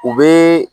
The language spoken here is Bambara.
U bɛ